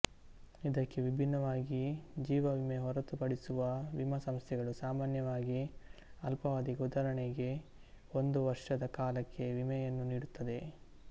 ಇದಕ್ಕೆ ವಿಭಿನ್ನವಾಗಿ ಜೀವವಿಮೆ ಹೊರತುಪಡಿಸುವ ವಿಮಾ ಸಂಸ್ಥೆಗಳು ಸಾಮಾನ್ಯವಾಗಿ ಅಲ್ಪಾವಧಿಗೆ ಉದಾಹರಣೆಗೆ ಒಂದು ವರ್ಷದ ಕಾಲಕ್ಕೆ ವಿಮೆಯನ್ನು ನೀಡುತ್ತದೆ